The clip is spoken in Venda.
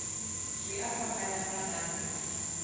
zwi a fhambana nga maanḓa